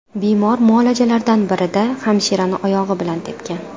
Bemor muolajalardan birida hamshirani oyog‘i bilan tepgan.